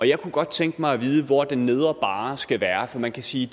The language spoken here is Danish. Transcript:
jeg kunne godt tænke mig at vide hvor den nedre barre skal være for man kan sige